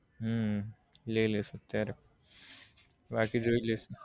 હમ લઇ લઈશ અત્યારે બાકી જોઈ લઈશ